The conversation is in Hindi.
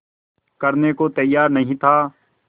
करने को तैयार नहीं था